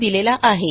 यांनी दिलेला आहे